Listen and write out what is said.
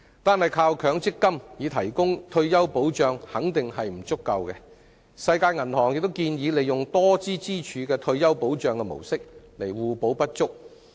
單靠強積金，固然不足以提供退休保障，世界銀行亦建議利用多支柱的退休保障模式以互補不足。